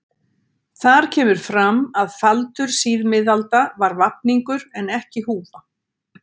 Þar kemur fram að faldur síðmiðalda var vafningur en ekki húfa.